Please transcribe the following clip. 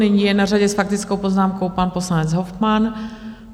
Nyní je na řadě s faktickou poznámkou pan poslanec Hofmann.